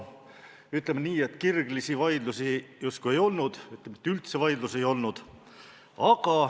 Ütleme nii, et kirglisi vaidlusi justkui ei olnud, tegelikult üldse vaidlusi ei olnud.